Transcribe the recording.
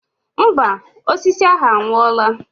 Mba, osisi ahụ anwụọla.